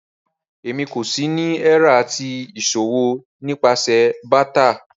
Rárá, èmí kò sì ni ẹ̀rà ti iṣọwọ̀ nípasẹ̀ bátà.